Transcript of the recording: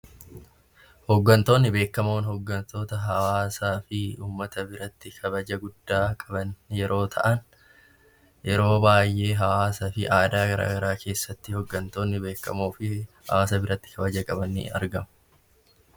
Hooggantoonni beekamoon hooggantoota hawaasaa fi uummata biratti kabaja guddaa qaban yeroo ta'an, yeroo baayyee hawaasaa fi aadaa garaagaraa keessatti namoota biratti kabaja qaban ni argamu.